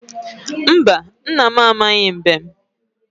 Mba, nna m amaghị mbem.